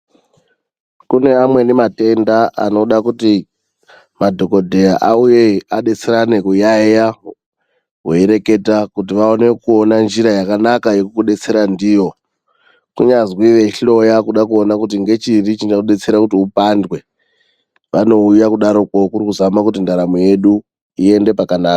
Kune amweni matenda anoda kuti madhokoteya auye adetserana kuyayeya weireketa kuti vaone kuona njira yakanaka yekukudetsera ndiyo. Kunyazwi veihloya kuda kuona kuti ngechiri chingadetsera kuti upandwe, vanouya kudaroko kuri kuzama kuti ndaramo yedu iende pakanaka.